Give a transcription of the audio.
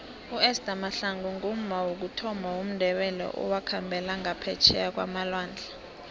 uester mahlangu ngumma wokuthoma womndebele owakhambela ngaphetjheya kwamalwandle